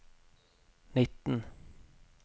nitten